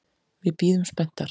Við bíðum spenntar.